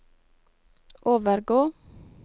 overgå